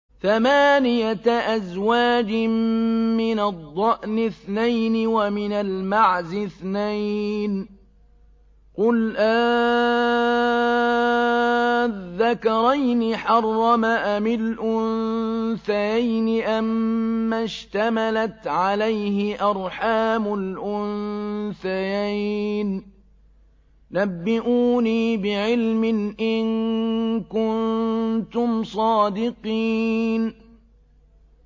ثَمَانِيَةَ أَزْوَاجٍ ۖ مِّنَ الضَّأْنِ اثْنَيْنِ وَمِنَ الْمَعْزِ اثْنَيْنِ ۗ قُلْ آلذَّكَرَيْنِ حَرَّمَ أَمِ الْأُنثَيَيْنِ أَمَّا اشْتَمَلَتْ عَلَيْهِ أَرْحَامُ الْأُنثَيَيْنِ ۖ نَبِّئُونِي بِعِلْمٍ إِن كُنتُمْ صَادِقِينَ